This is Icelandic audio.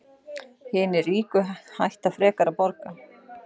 Hinir ríku hætta frekar að borga